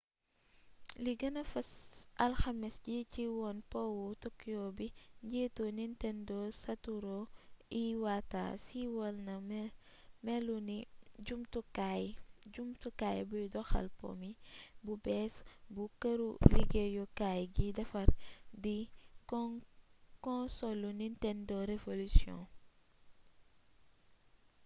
ci li gëna fes alxames ji ci wone powu tokyo bi njiitu nintendo satoru iwata siiwal na melinu jumtukaay buy doxal po mi bu bées bu këru liggéyukaay gi defar di konsolu nintendo revolution